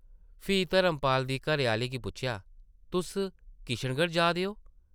फ्ही धर्मपाल दी घरै-आह्ली गी पुच्छेआ ,‘‘ तुस किशनगढ़ जा दे ओ?’’